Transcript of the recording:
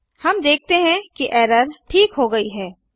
हम देखते हैं कि एरर ठीक हो गई है